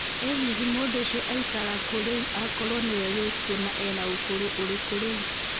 ĩ hihi mũndũ ũcio araĩkara kũ rĩũ akorwo nĩwe wĩkũo na ena ũkũrũ ũrikũ rĩu